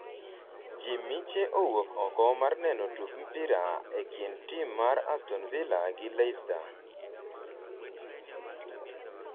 jii miche owuok oko mar neno tuk mpira e kind tim mar aston Villa gi Leicester